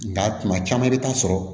Nga kuma caman i bi taa sɔrɔ